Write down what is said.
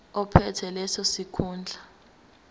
ophethe leso sikhundla